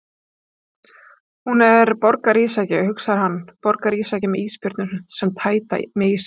Hún er borgarísjaki, hugsar hann, borgarísjaki með ísbjörnum sem tæta mig í sig.